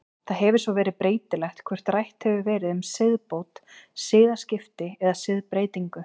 Það hefur svo verið breytilegt hvort rætt hefur verið um siðbót, siðaskipti eða siðbreytingu.